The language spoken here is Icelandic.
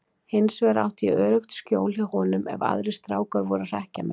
Hinsvegar átti ég öruggt skjól hjá honum ef aðrir strákar voru að hrekkja mig.